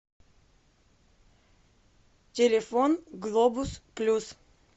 телефон глобус плюс